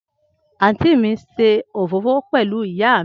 anti mi nse òfófó pẹlu iya mi.